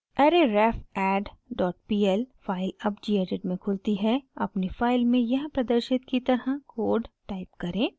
arrayrefaddpl file अब gedit में खुलती है अपनी फाइल में यहाँ प्रदर्शित की तरह कोड टाइप करें